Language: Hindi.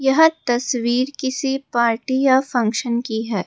यह तस्वीर किसी पार्टी या फंक्शन की है।